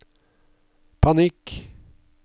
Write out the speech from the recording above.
panikk